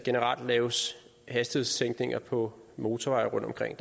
laves hastighedssænkninger på motorveje rundtomkring